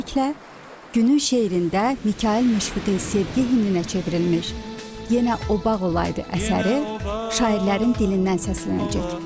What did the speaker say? Beləliklə, günün şeirində Mikayıl Müşfiqin sevgi himninə çevrilmiş, Yenə o bağ olaydı əsəri şairlərin dilindən səslənəcək.